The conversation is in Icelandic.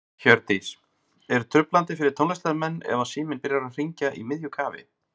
Hjördís: Er truflandi fyrir tónlistarmenn ef að síminn byrjar að hringja í miðju kafi?